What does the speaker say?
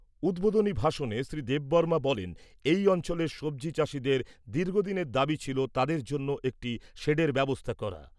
উদ্বোধনী ভাষণে শ্রী দেববর্মা বলেন, এই অঞ্চলের সব্জি চাষীদের দীর্ঘদিনের দাবি ছিল তাদের জন্য একটি শেডের ব্যবস্থা করা।